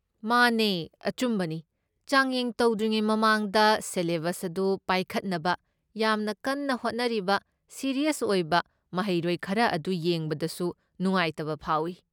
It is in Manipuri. ꯃꯥꯅꯦ, ꯑꯆꯨꯝꯕꯅꯤ, ꯆꯥꯡꯌꯦꯡ ꯇꯧꯗ꯭ꯔꯤꯉꯩ ꯃꯃꯥꯡꯗ ꯁꯦꯂꯦꯕꯁ ꯑꯗꯨ ꯄꯥꯏꯈꯠꯅꯕ ꯌꯥꯝꯅ ꯀꯟꯅ ꯍꯣꯠꯅꯔꯤꯕ ꯁꯤꯔꯤꯌꯁ ꯑꯣꯏꯕ ꯃꯍꯩꯔꯣꯏ ꯈꯔ ꯑꯗꯨ ꯌꯦꯡꯕꯗꯁꯨ ꯅꯨꯡꯉꯥꯏꯇꯕ ꯐꯥꯎꯏ꯫